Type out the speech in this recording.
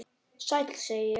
Sæll, segi ég.